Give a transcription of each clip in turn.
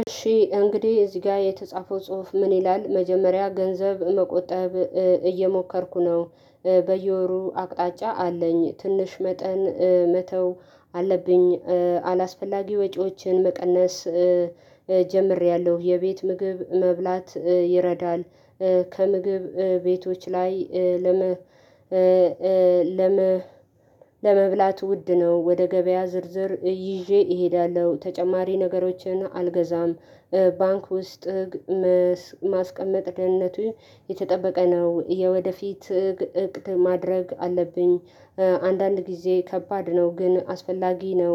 እሺ እንግዲህ እዚህ ጋር የተጻፈው ጽሁፍ ምን ይላል? መጀመሪያ ገንዘብ መቆጠብ እየሞከርኩ ነው በየወሩ አቅጣጫ አለኝ ትንሽ መጠን መተው አለብኝ። አላስፈላጊ ወጪዎችን መቀነስ ጀምሬያለሁ የቤት ምግብ መብላት ይረዳል። ከምግብ ቤቶች ላይ ለመብላት ውድ ነው ወደ ገበያ ዝርዝር ይዤ እሄዳለሁ ተጨማሪ ነገሮችን አልገዛም። ባንክ ውስጥ ማስቀመጥ ደህንነቱ የተጠበቀ ነው የወደፊት እቅድ ማድረግ አለብኝ። አንዳንድ ጊዜ ከባድ ነው ግን አስፈላጊ ነው።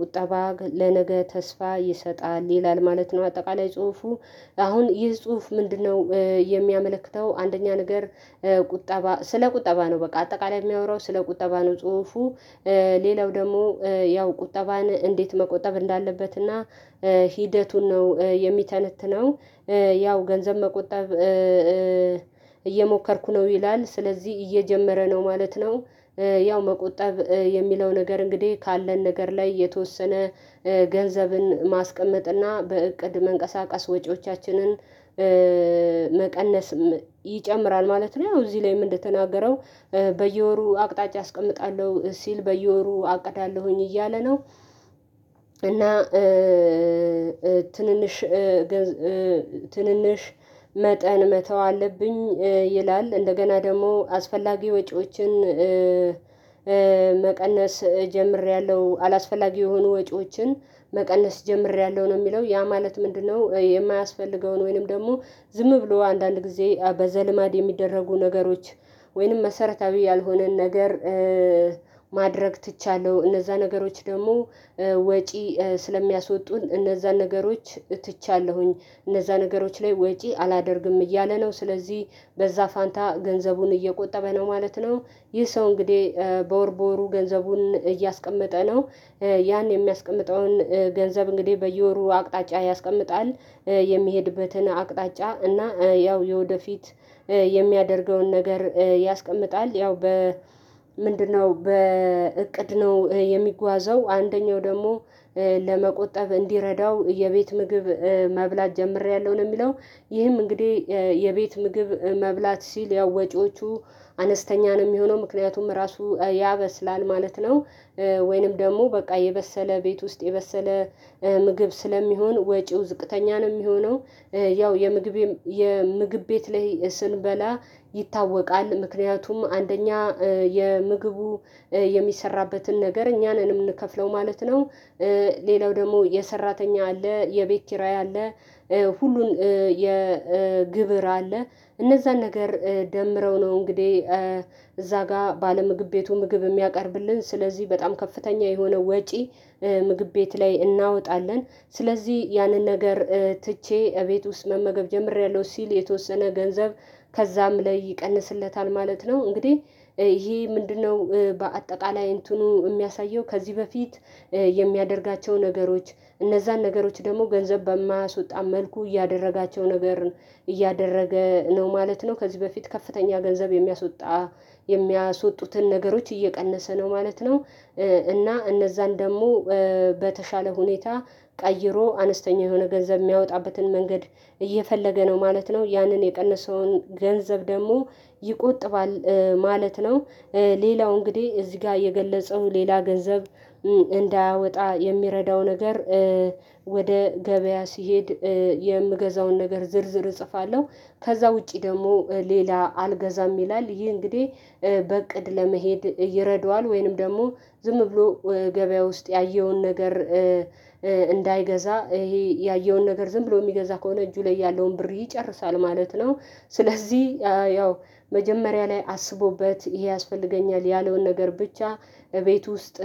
ቁጠባ ለነገ ተስፋ ይሰጣል ይላል ማለት ነው። አጠቃላይ ጽሁፉ አሁን ይህ ጽሁፍ ምንድነው የሚያመለክተው? አንደኛ ነገር ቁጠባ ስለ ቁጠባ ነው በቃ አጠቃላይ የሚያወራው ስለ ቁጠባ ነው ጽሁፉ። ሌላው ደግሞ ያው ቁጠባን እንዴት መቆጠብ እንዳለበትና ሂደቱን ነው የሚተነትነው። ያው ገንዘብ መቆጠብ እየሞከርኩ ነው ይላል ስለዚህ እየጀመረ ነው ማለት ነው። ያው መቆጠብ የሚለው ነገር እንግዲህ ካለን ነገር ላይ የተወሰነ ገንዘብን ማስቀመጥና በእቅድ መንቀሳቀስ ወጪዎቻችንን መቀነስ ይጨምራል ማለት ነው። ያው እዚህ ላይም እንደተናገረው በየወሩ አቅጣጫ አስቀምጣለሁ ሲል በየወሩ አቅዳለሁኝ እያለ ነው። እና ትንንሽ ገንዘብ ትንንሽ መጠን መተው አለብኝ ይላል። እንደገና ደግሞ አስፈላጊ ወጪዎችን መቀነስ ጀምሬያለሁ አላስፈላጊ የሆኑ ወጪዎችን መቀነስ ጀምሬያለሁ ነው የሚለው ያ ማለት ምንድነው? የማያስፈልገውን ወይንም ደግሞ ዝም ብሎ አንዳንድ ጊዜ በዘልማድ የሚደረጉ ነገሮች ወይንም መሰረታዊ ያልሆነን ነገር ማድረግ ትቻለሁ እነዛ ነገሮች ደግሞ ወጪ ስለሚያስወጡን እነዛን ነገሮች ትቻለሁኝ እነዛ ነገሮች ላይ ወጪ አላደርግም እያለ ነው። ስለዚህ በዛ ፋንታ ገንዘቡን እየቆጠበ ነው ማለት ነው። ይህ ሰው እንግዲህ በወር በወሩ ገንዘቡን እያስቀመጠ ነው። ያን የሚያስቀምጠውን ገንዘብ እንግዲህ በየወሩ አቅጣጫ ያስቀምጣል የሚሄድበትን አቅጣጫ እና ያው የወደፊት የሚያደርገውን ነገር ያስቀምጣል ያው በ ምንድነው በእቅድ ነው የሚጓዘው አንደኛው ደግሞ ለመቆጠብ እንዲረዳው የቤት ምግብ መብላት ጀምሬያለሁ ነው የሚለው። ይህም እንግዲህ የቤት ምግብ መብላት ሲል ያው ወጪዎቹ አነስተኛ ነው የሚሆነው ምክንያቱም ራሱ ያበስላል ማለት ነው። ወይንም ደግሞ በቃ የበሰለ ቤት ውስጥ የበሰለ ምግብ ስለሚሆን ወጪው ዝቅተኛ ነው የሚሆነው። ያው የምግብ የምግብ ቤት ላይ ስንበላ ይታወቃል ምክንያቱም አንደኛ የምግቡ የሚሰራበትን ነገር እኛ ነን የምንከፍለው ማለት ነው። ሌላው ደግሞ የሰራተኛ አለ የቤት ኪራይ አለ ሁሉን የግብር አለ እነዛን ነገር ደምረው ነው እንግዲህ እዛ ጋር ባለ ምግብ ቤቱ ምግብ የሚያቀርብልን ስለዚህ በጣም ከፍተኛ የሆነ ወጪ ምግብ ቤት ላይ እናወጣለን። ስለዚህ ያንን ነገር ትቼ እቤት ውስጥ መመገብ ጀምሬያለሁ ሲል የተወሰነ ገንዘብ ከዛም ላይ ይቀንስለታል ማለት ነው። እንግዲህ ይሄ ምንድነው በአጠቃላይ እንትኑ የሚያሳየው ከዚህ በፊት የሚያደርጋቸው ነገሮች እነዛን ነገሮች ደግሞ ገንዘብ በማያስወጣ መልኩ እያደረጋቸው ነገር እያደረገ ነው ማለት ነው። ከዚህ በፊት ከፍተኛ ገንዘብ የሚያስወጣ የሚያስወጡትን ነገሮች እየቀነሰ ነው ማለት ነው። እና እነዛን ደግሞ በተሻለ ሁኔታ ቀይሮ አነስተኛ የሆነ ገንዘብ የሚያወጣበትን መንገድ እየፈለገ ነው ማለት ነው። ያንን የቀነሰውን ገንዘብ ደግሞ ይቆጥባል ማለት ነው። ሌላው እንግዲህ እዚህ ጋር የገለጸው ሌላ ገንዘብ እንዳያወጣ የሚረዳው ነገር ወደ ገበያ ሲሄድ የምገዛውን ነገር ዝርዝር እጽፋለሁ ከዛ ውጪ ደግሞ ሌላ አልገዛም ይላል። ይሄ እንግዲህ በእቅድ ለመሄድ ይረደዋል ወይንም ደግሞ ዝም ብሎ ገበያ ውስጥ ያየውን ነገር እንዳይገዛ ይሄ ያየውን ነገር ዝም ብሎ የሚገዛ ከሆነ እጁ ላይ ያለውን ብር ይጨርሳል ማለት ነው። ስለዚህ ያው መጀመሪያ ላይ አስቦበት ይሄ ያስፈልገኛል ያለውን ነገር ብቻ እቤት ውስጥ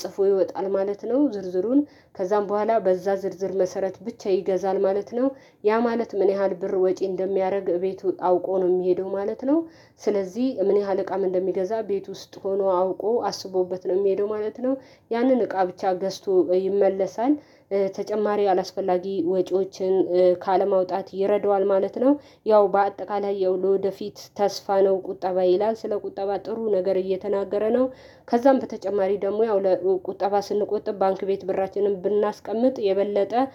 ጽፎ ይወጣል ማለት ነው። ዝርዝሩን ከዛም በኋላ በዛ ዝርዝር መሰረት ብቻ ይገዛል ማለት ነው። ያ ማለት ምን ያህል ብር ወጪ እንደሚያደርግ ቤቱ አውቆ ነው የሚሄደው ማለት ነው። ስለዚህ ምን ያህል እቃ ምን እንደሚገዛ ቤት ውስጥ ሆኖ አውቆ አስቦበት ነው የሚሄደው ማለት ነው። ያንን እቃ ብቻ ገዝቶ ይመለሳል ተጨማሪ አላስፈላጊ ወጪዎችን ካለማውጣት ይረዳዋል ማለት ነው። ያው በአጠቃላይ ያው ለወደፊት ተስፋ ነው ቁጠባ ይላል ስለ ቁጠባ ጥሩ ነገር እየተናገረ ነው። ከዛም በተጨማሪ ደግሞ ያው ለቁጠባ ስንቆጥብ ባንክ ቤት ብራችንን ብናስቀምጥ የበለጠ